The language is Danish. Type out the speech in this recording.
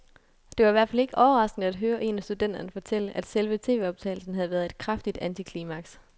Det var i hvert fald ikke overraskende at høre en af studenterne fortælle, at selve tvoptagelsen havde været et kraftigt antiklimaks.